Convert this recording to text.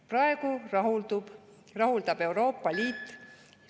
Praegu rahuldab Euroopa Liit …